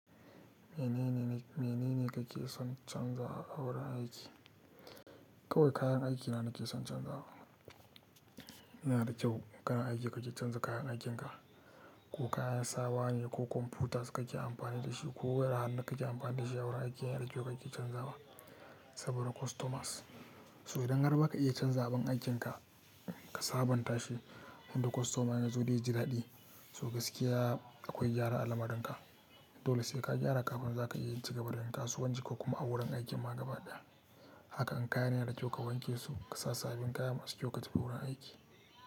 Menene, menene kake son canzawa a wurin aiki? Kawai kayan aiki na nake son canzawa. N'na da kyau, kana aiki kaji canza kayan aikinka. Ko kayan sawa ne ko kwamfutas kake amfani da shi ko wayar hannu kake amfani da shi a wurin aiki yana da kyau kaji canzawa saboda customers. So idan har ba ka iya canza abin aikinka ka sabonta shi, wanda kostoma ya zo ya ji daɗi. So gaskiya akwai gyara alamarinka. Dole sai ka gyara kafin za ka iya cigaban da yi kasuwanci, ko kuma a wurin aiki ma gabadaya. Haka an kayan yana da kyau ka wanke su ka sa sabbin kaya masu kyau ka tafi wurin aiki.